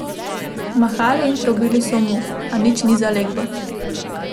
Mahali in trobili so mu, a nič ni zaleglo.